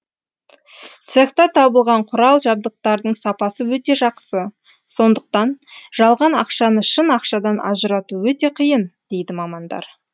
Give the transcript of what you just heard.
цехта табылған құрал жабдықтардың сапасы өте жақсы сондықтан жалған ақшаны шын ақшадан ажырату өте қиын дейді мамандар